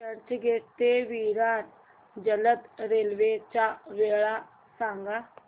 चर्चगेट ते विरार जलद रेल्वे च्या वेळा सांगा